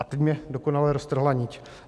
A teď mi dokonale roztrhla niť.